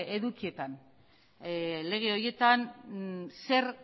edukietan lege horietan zer